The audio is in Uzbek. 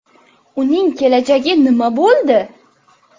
Uning kelajagi nima bo‘ldi?